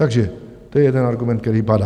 Takže to je jeden argument, který padá.